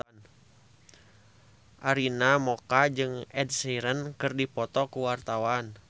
Arina Mocca jeung Ed Sheeran keur dipoto ku wartawan